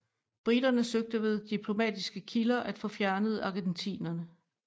Briterne søgte ved diplomatiske kilder at få fjernet argentinerne